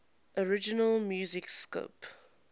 original music score